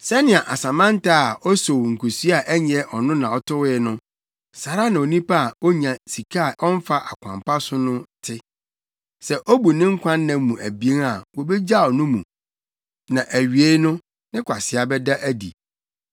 Sɛnea asɛmɛntɛ a osow nkesua a ɛnyɛ ɔno na ɔtowee no, saa ara na onipa a onya sika a ɔmfa ɔkwan pa so no te. Sɛ obu ne nkwa nna mu abien a wobegyaw no mu, na awiei no, ne kwasea bɛda adi.